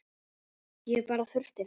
Ég bara þurfti þess.